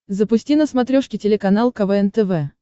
запусти на смотрешке телеканал квн тв